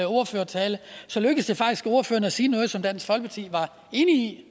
ordførertale så lykkedes det faktisk ordføreren at sige noget som dansk folkeparti var enige i